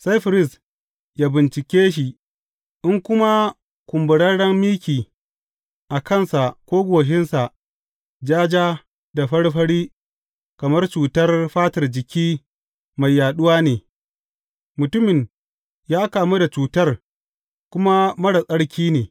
Sai firist ya bincike shi, in kuma kumburarren miki a kansa ko goshinsa ja ja da fari fari kamar cutar fatar jiki mai yaɗuwa ne, mutumin ya kamu da cutar kuma marar tsarki ne.